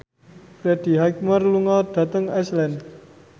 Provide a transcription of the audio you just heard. Freddie Highmore lunga dhateng Iceland